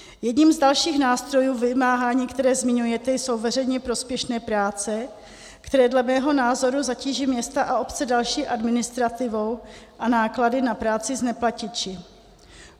Jedním z dalších nástrojů vymáhání, které zmiňujete, jsou veřejně prospěšné práce, které dle mého názoru zatíží města a obce další administrativou a náklady na práci s neplatiči.